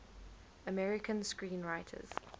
american screenwriters